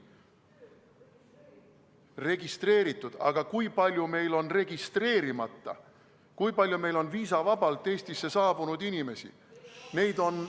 Registreeritud, aga kui palju meil on registreerimata, kui palju meil on viisavabalt Eestisse saabunud inimesi?